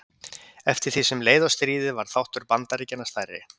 eftir því sem leið á stríðið varð þáttur bandaríkjanna stærri